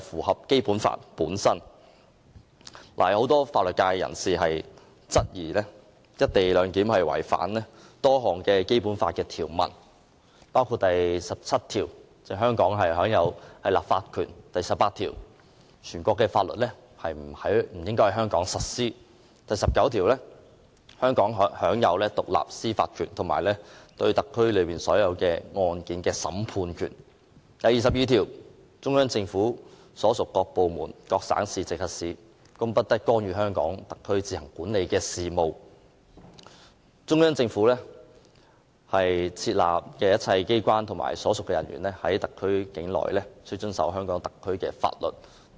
很多法律界人士均質疑"一地兩檢"安排違反《基本法》多項條文，包括第十七條，香港特區享有立法權；第十八條，全國性法律不應在香港實施；第十九條，香港特區享有獨立的司法權，以及對特區所有案件的審判權；第二十二條，中央人民政府所屬各部門、各省、直轄市均不得干預香港特區自行管理的事務，以及中央在香港特區設立的一切機構及其人員均須遵守香港特區的法律等。